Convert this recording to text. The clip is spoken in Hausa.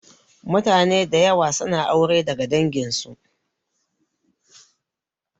Mutane da yawa suna aure daga dangin su